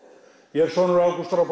ég er sonur Ágústar frá